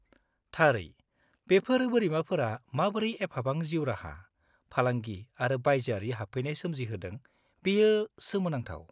-थारै! बेफोर बोरिमाफोरा माबोरै एफाबां जीउराहा, फालांगि आरो बाइजोआरि हाबफैनाय सोमजिहोदों बेयो सोमोनांथाव।